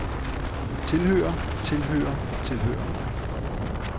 tilhører tilhører tilhører